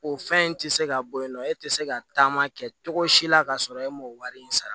O fɛn in tɛ se ka bɔ yen nɔ e tɛ se ka taama kɛ cogo si la ka sɔrɔ e m'o wari in sara